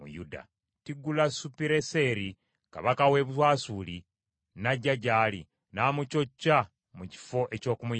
Tirugazupiruneseri kabaka w’e Bwasuli n’ajja gy’ali, n’amucocca mu kifo eky’okumuyamba.